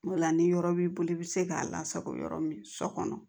O la ni yɔrɔ b'i bolo i bɛ se k'a lasago yɔrɔ min so kɔnɔ